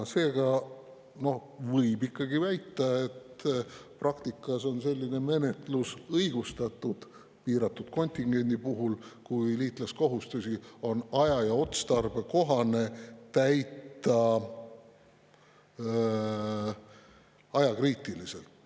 Seega võib ikkagi väita, et praktikas on selline menetlus õigustatud piiratud kontingendi puhul, kui liitlaskohustusi on aja- ja otstarbekohane täita ajakriitiliselt.